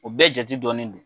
O bɛɛ jate dɔɔnin don.